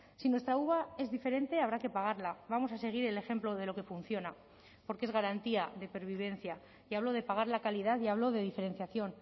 si nuestra uva es diferente habrá que pagarla vamos a seguir el ejemplo de lo que funciona porque es garantía de pervivencia y hablo de pagar la calidad y hablo de diferenciación